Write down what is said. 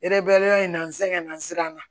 Ereberiya in na n sɛgɛnna siran na